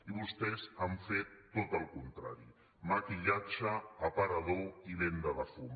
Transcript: i vostès han fet tot el contrari maquillatge aparador i venda de fum